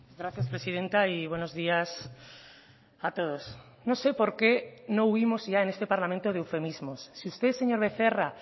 gracias presidenta y buenos días a todos no sé por qué no huimos ya en este parlamento de eufemismos si usted señor becerra